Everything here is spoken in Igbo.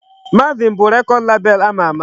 Marvin bụ record label ama ama.